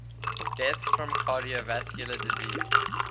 deaths from cardiovascular disease